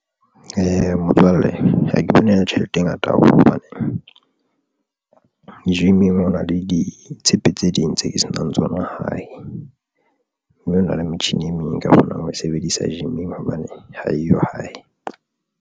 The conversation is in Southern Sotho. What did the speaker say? Motswalle ha ke bone e le tjhelete e ngata haholo hobane gym-ing, ho na le ditshepe tse ding tse ke senang tsona hae mme ho na le metjhini e meng e ka kgonang ho e sebedisa gym-ing hobane ha eyo hae.